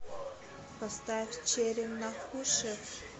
поставь черим нахушев